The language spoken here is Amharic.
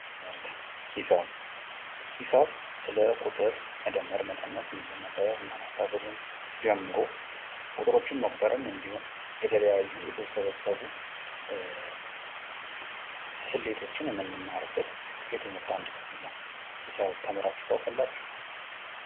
ትምህርት ሂሳብ ሂሳብ ስለ ቁጥር መደመር መቀነስ እንዲሁም ማባዛትና ማካፈል ጀምሮ ቁጥሮችን መቁጠርን እንዲሁም የተለያዩ የተውሰበሰቡ ስሌቶችን የምንማርበት የትምህርት አንዱ ክፍል ነው። ሂሳብ ተምራችሁ ታውቃላችሁ?